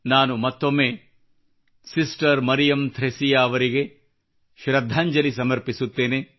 ನಾನು ಮತ್ತೊಮ್ಮೆ ಸಿಸ್ಟರ್ ಮರಿಯಮ್ ಥ್ರೆಸಿಯಾ ಅವರಿಗೆ ಶೃದ್ಧಾಂಜಲಿ ಸಮರ್ಪಿಸುತ್ತೇನೆ